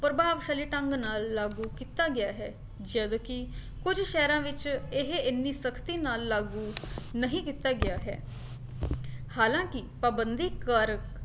ਪ੍ਰਭਾਵਸ਼ਾਲੀ ਢੰਗ ਨਾਲ ਲਾਗੂ ਕੀਤਾ ਗਿਆ ਹੈ ਜਦਕਿ ਕੁੱਝ ਸ਼ਹਿਰਾਂ ਵਿੱਚ ਇਹ ਇੰਨੀ ਸਖਤੀ ਨਾਲ ਲਾਗੂ ਨਹੀਂ ਕੀਤਾ ਗਿਆ ਹੈ ਹਲਾਂਕਿ ਪਾਬੰਦੀ ਕਾਰਕ